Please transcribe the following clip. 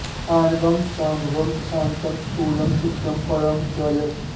आणवं शाम्भवं शान्तं स्थूलं सूक्ष्मं परं च यत्